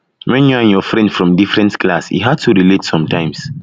when you and your friend from different class e hard to relate sometimes